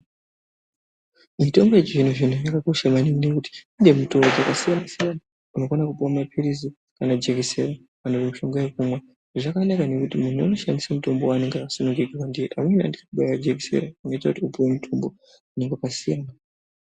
Mitombo yechizvino zvino yakakosha maningi ngekuti kune mitombo yakasiyana siyana unokona kupiwa mapirizi, kana jekiseni, kana mushonga wekumwa zvakanaka maningi ngekuti umwe unoshandisa mutombo waanenge asungirirwa kana kubairwa jekiseni rinoita kuti upiwe mutombo nyangwe pasina.